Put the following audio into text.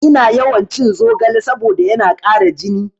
Ina yawan cin zogale saboda yana ƙara jini